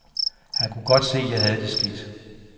Han kunne godt se, at jeg havde det skidt.